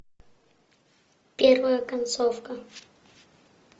первая концовка